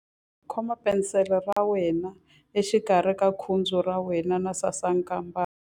Khoma penisele ya wena exikarhi ka khudzu ra wena na sasankambana.